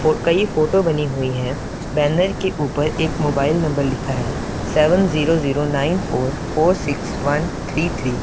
फो कई फोटो बनी हुई है बैनर के ऊपर एक मोबाइल नंबर लिखा है seven zero zero nine four four six one three three.